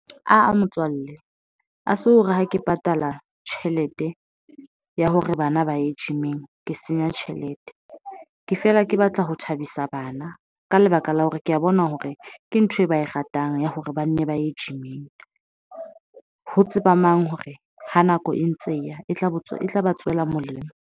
Ah-ah motswalle ha se hore ha ke patala tjhelete ya hore bana ba ye gym-ing ke senya tjhelete. Ke feela ke batla ho thabisa bana ka lebaka la hore ke ya bona hore ke ntho e ba e ratang ya hore ba nne ba ye gym-ing ho tseba mang hore ha nako e ntse e ya e tla botswa, e tla ba tswela molemo.